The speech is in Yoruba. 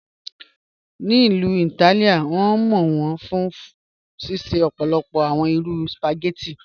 Ní Ilú Ítálìá, wọn mọ wọn fún ṣíṣẹ̀ ọ̀pọ̀lọpọ̀ awọn irú spaghetti.